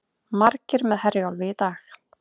Margir með Herjólfi í dag